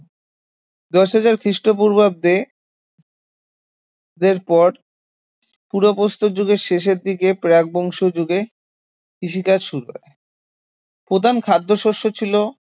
দশ হাজার খ্রিস্টপূর্বাব্দে এরপর পুরা প্রস্তর যুগের শেষের দিকে প্রাকবংশীয় যুগে কৃষিকাজ শুরু হয় প্রধান খাদ্যশস্য ছিল